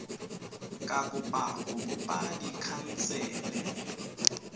ka kopa go bopa dikhansele